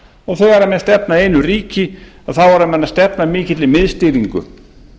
og þegar menn stefna að einu ríki þá eru menn að stefna að mikilli miðstýringu